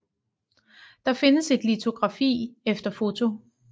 Der findes et litografi efter foto